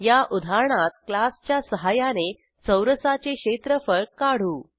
या उदाहरणात क्लासच्या सहाय्याने चौरसाचे क्षेत्रफळ काढू